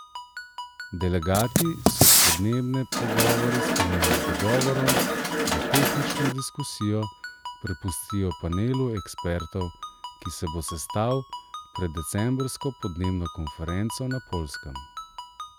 Delegati so podnebne pogovore sklenili z dogovorom, da tehnično diskusijo prepustijo panelu ekspertov, ki se bo sestal pred decembrsko podnebno konferenco na Poljskem.